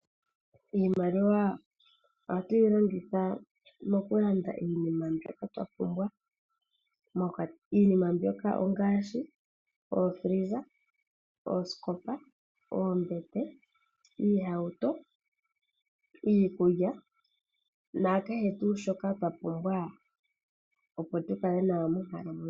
Iimaliwa oha tu yi longitha mokulanda iinima mbyoka twa pumbwa. Iinima mbyoka ongaashi ookila dhokutalaleka, oosikopa, oombete, iihauto, iikulya nakehe tuu shoka twa pumbwa opo tu kale nawa monkalamwenyo.